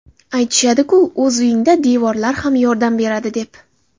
Aytishadi-ku, o‘z uyingda devorlar ham yordam beradi, deb.